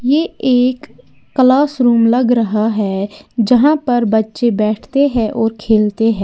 ये एक classroom लग रहा है यहां पर बच्चे बैठते हैं और खेलते हैं।